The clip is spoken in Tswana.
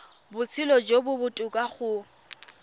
botshelo jo bo botoka go